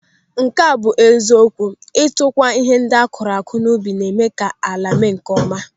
Nke a bụ eziokwu, ịtụgwa ihe ndị akụrụ n'ubi na-eme ka ala mee nkeọma.